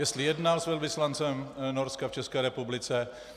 Jestli jednal s velvyslancem Norska v České republice?